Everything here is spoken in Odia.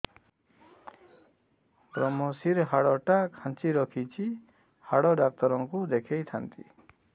ଵ୍ରମଶିର ହାଡ଼ ଟା ଖାନ୍ଚି ରଖିଛି ହାଡ଼ ଡାକ୍ତର କୁ ଦେଖିଥାନ୍ତି